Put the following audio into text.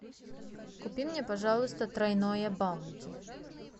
купи мне пожалуйста тройное баунти